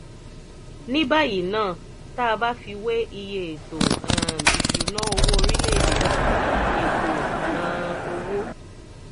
ní báyìí ná tá a bá fi wé iye ètò um ìṣúnná owó orílẹ̀-èdè náà ètò um owó